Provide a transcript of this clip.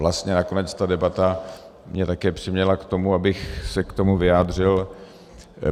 Vlastně nakonec ta debata mě také přiměla k tomu, abych se k tomu vyjádřil.